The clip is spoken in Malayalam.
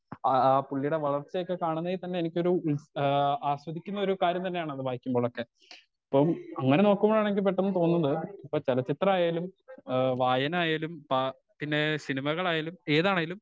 അ ആ പുളീടെ വളർച്ചയൊക്കെ കാണുന്നെ തന്നെ എനിക്കൊരു ഇൻസ് ആ ആസ്വദിക്കുന്ന കാര്യം തന്നെയാണ് അത് വായിക്കുമ്പോള്ളൊക്കെ പ്പം അങ്ങനെ നോക്കുവാണെങ്കി പെട്ടന് തോന്നുന്നു ഇപ്പൊ ചെലച്ചിത്രായാലും ഏഹ് വായനായാലും പ പിന്നെ സിനിമകളായാലും ഏതാണേലും